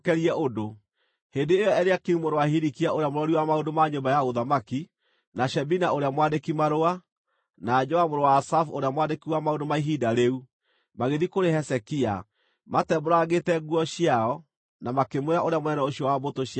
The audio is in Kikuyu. Hĩndĩ ĩyo Eliakimu mũrũ wa Hilikia ũrĩa mũrori wa maũndũ ma nyũmba ya ũthamaki, na Shebina ũrĩa mwandĩki-marũa, na Joa mũrũ wa Asafu ũrĩa mwandĩki wa maũndũ ma ihinda rĩu, magĩthiĩ kũrĩ Hezekia, matembũrangĩte nguo ciao, na makĩmwĩra ũrĩa mũnene ũcio wa mbũtũ cia ita oigĩte.